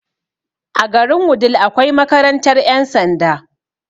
A garin wudil akwai makarantar ƴan sanda